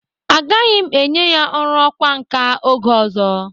Agaghi m enye ya ọrụ ọkwa nka oge ọzọ.